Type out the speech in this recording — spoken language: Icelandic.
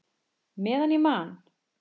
Meðan ég man!